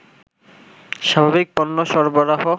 স্বাভাবিক পণ্য সরবরাহ